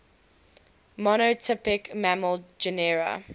monotypic mammal genera